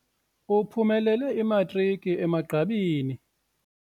Uphumelele imatriki emagqabini.